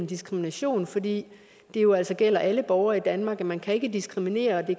diskrimination fordi det jo altså ikke gælder alle borgere i danmark og man kan ikke diskriminere og